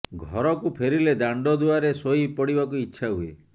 ଘରକୁ ଫେରିଲେ ଦାଣ୍ଡ ଦୁଆରେ ଶୋଇ ପଡ଼ିବାକୁ ଇଚ୍ଛା ହୁଏ